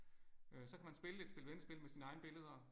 Øh så kan man spille et spil vendespil med sine egne billeder